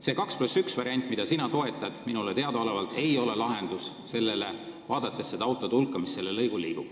See 2 + 1 variant, mida sina toetad, ei ole minule teadaolevalt lahendus, kui vaadata seda autode hulka, mis sellel lõigul liigub.